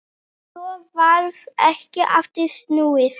Svo varð ekkert aftur snúið.